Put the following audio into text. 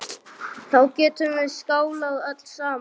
Þá getum við skálað öll saman.